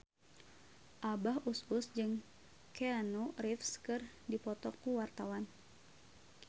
Abah Us Us jeung Keanu Reeves keur dipoto ku wartawan